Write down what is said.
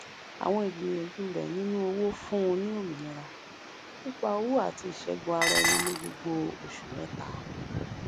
àwọn ìgbìyànjú rẹ nínú òwò fún un ní òmìnira nípa owó àti ìṣẹgun ara ẹni ní gbogbo oṣù mẹta